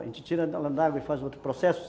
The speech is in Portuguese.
A gente tira ela d'água e faz outro processo.